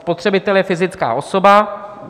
Spotřebitel je fyzická osoba.